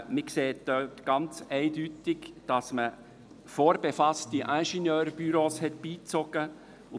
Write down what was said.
Man sieht dort eindeutig, dass man vorbefasste Ingenieurbüros beigezogen hat.